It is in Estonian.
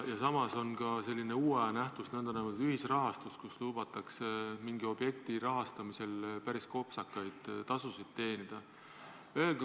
Samas on ka selline uue aja nähtus, nn ühisrahastus, mille korral lubatakse mingi objekti rahastamisel päris kopsakaid tasusid teenida.